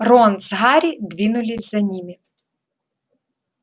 рон с гарри двинулись за ними